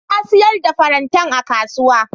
Na siyar da farantan a kasuwa.